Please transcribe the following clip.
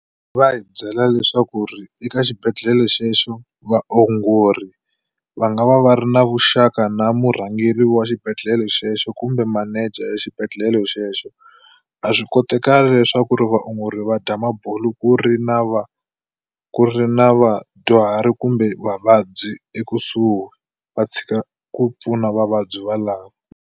Va hi byela leswaku ri eka xibedhlele xexo vaongori va nga va va ri na vuxaka na murhangeri wa xibedhlele xexo kumbe manager xibedhlele xexo a swi kotakali leswaku ri vaongori va dya mabulo ku ri na ku ri na vadyuhari kumbe vavabyi ekusuhi va tshika ku pfuna vavabyi va lava.